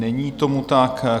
Není tomu tak.